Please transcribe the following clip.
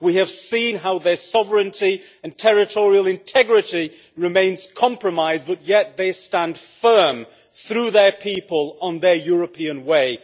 We have seen how their sovereignty and territorial integrity remains compromised but yet they stand firm, through their people, on their European way.